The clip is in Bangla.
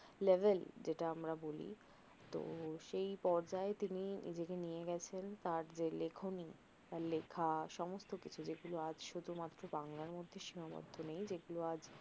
লেভেল যেটা আমরা বলি তহ সেই পর্যায় তিনি নিজেকে নিয়ে গেছেন তার যে লেখনি তার লেখা সমস্ত কিছু যেগুলো আজ সুধুমাত্র বাংলার মধ্যে সীমাবদ্ধ নেই